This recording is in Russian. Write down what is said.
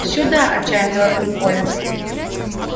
сюда отчаянно завопил колин